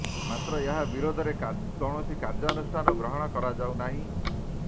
ମାତ୍ର ଏହା ବିରୋଧରେ କୌଣସି କାର୍ଯ୍ୟାନୁଷ୍ଠାନ ଗ୍ରହଣ କରାଯାଉ ନାହିଁ